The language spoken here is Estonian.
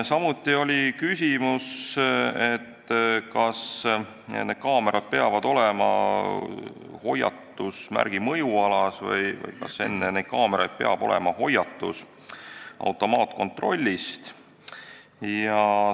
Samuti oli küsimus, kas need kaamerad peavad olema hoiatusmärgi mõjualas või kas enne neid kaameraid peab olema hoiatus automaatkontrolli kohta.